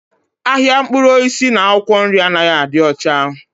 Ahịa mkpụrụ osisi na akwụkwọ nri anaghị adị ọcha.